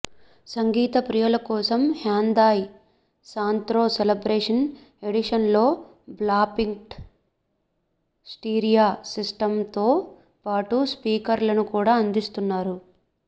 సంగీత ప్రియుల కోసం Hyundai Santro celebration ఎడిషన్లో బ్లాపంక్ట్ స్టీరియో సిస్టమ్తో పాటు స్పీకర్లను కూడా అందిస్తున్నారు